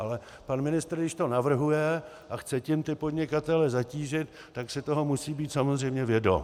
Ale pan ministr, když to navrhuje a chce tím ty podnikatele zatížit, tak si toho musí být samozřejmě vědom.